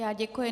Já děkuji.